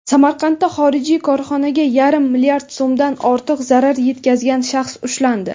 Samarqandda xorijiy korxonaga yarim mlrd so‘mdan ortiq zarar yetkazgan shaxs ushlandi.